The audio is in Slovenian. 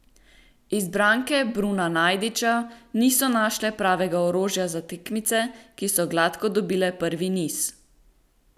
Izbranke Bruna Najdiča niso našle pravega orožja za tekmice, ki so gladko dobile prvi niz.